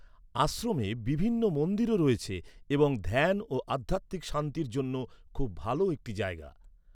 আশ্রমে বিভিন্ন মন্দিরও রয়েছে এবং ধ্যান ও আধ্যাত্মিক শান্তির জন্য খুব ভালো একটি জায়গা।